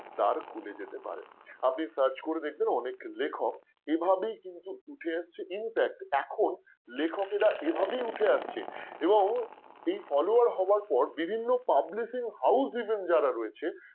দার খুলে যেতে পারে আপনি search করে দেখবেন অনেক লেখক এভাবে কিন্তু উঠে এসেছে. infact এখন লেখকেরা এভাবেই উঠে আসছে এবং এই follower হওয়ার পর বিভিন্ন publishing houseeven যারা রয়েছে